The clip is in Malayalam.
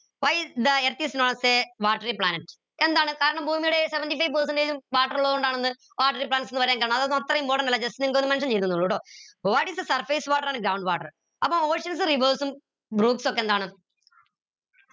why is Earth is not a watery planet എന്താണ് കാരണം ഭൂമിയുടെ seventy five percentage ഉം water ഉള്ളതോണ്ടാണെന്ന് watery planets ന്ന് പറയാൻ കാരണം അതൊന്നും അത്ര important അല്ല just നിങ്ങക്കൊന്ന് mention ചെയ്തൂന്നുള്ളു ട്ടോ what is the surface water and groundwater അപ്പൊ എന്താണ്